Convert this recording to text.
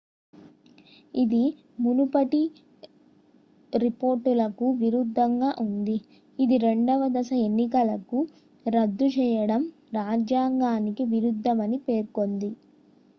ఇది మునుపటి రిపోర్ట్లకు విరుద్ధంగా ఉంది ఇది రెండవ దశ ఎన్నికలను రద్దు చేయడం రాజ్యాంగానికి విరుద్ధమని పేర్కొంది